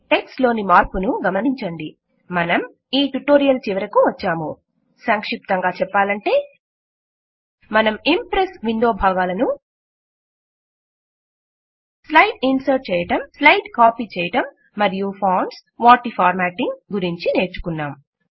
text లోని మార్పును గమనించండి్ మనం ఈ ట్యుటోరియల్ చివరకు వచ్చాము సంక్షిప్తంగా చెప్పాలంటే మనం ఇంప్రెస్ విండో భాగాలను స్లైడ్ ఇన్సర్ట్ చేయటం స్లైడ్ కాపీ చేయటం మరియు ఫాంట్స్ వాటి ఫార్మాటింగ్ గురించి నేర్చుకున్నాం